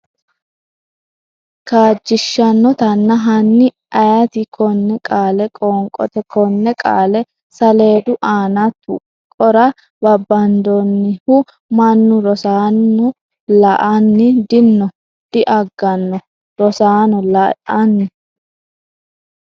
kaajjishshannotanna Hanni ayeeti konne qaale qoonqote Konne qaale saleedu aana tuqqora babbadannoehu? Mannu Rosaano la’ini? di nno diaganno Rosaano, la’ini?